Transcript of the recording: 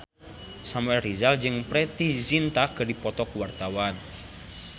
Samuel Rizal jeung Preity Zinta keur dipoto ku wartawan